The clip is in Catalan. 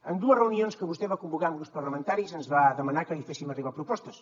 en dues reunions que vostè va convocar amb grups parlamentaris ens va demanar que li féssim arribar propostes